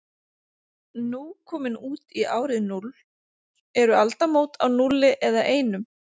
Nú komin út í árið núll, eru aldamót á núlli eða einum?